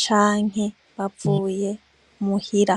canke bavuye muhira.